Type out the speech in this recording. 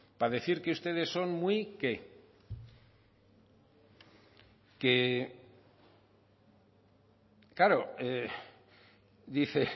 para decir que ustedes son muy qué que claro dice